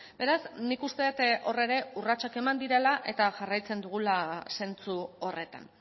beraz nik uste dut hor ere urratsak eman direla eta jarraitzen dugula zentzu horretan